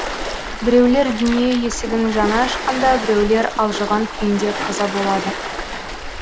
біреулер дүние есігін жаңа ашқанда біреулер алжыған күйінде қаза болады